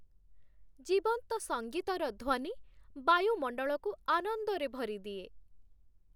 ଜୀବନ୍ତ ସଙ୍ଗୀତର ଧ୍ୱନି ବାୟୁମଣ୍ଡଳକୁ ଆନନ୍ଦରେ ଭରିଦିଏ।